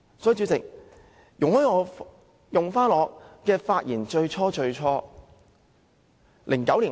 主席，請容許我複述我發言的開場白。